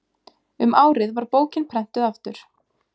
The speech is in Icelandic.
um árið var bókin prenntuð aftur